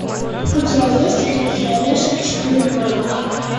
у тебя есть крепкий орешек четыре ноль